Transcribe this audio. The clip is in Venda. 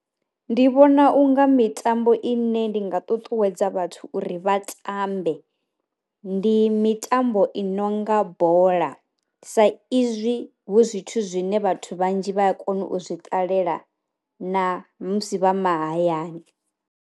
Ndi vhona unga mitambo i ne ndi nga ṱuṱuwedza vhathu uri vha tambe, ndi mitambo i nonga bola sa izwi hu zwithu zwine vhathu vhanzhi vha a kona u zwi ṱalela na musi vha mahayani.